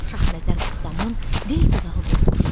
Şahnəzər ustamın dil dodağı qurumuşdu.